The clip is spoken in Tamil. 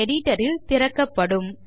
editor ல் திறக்கப்படும்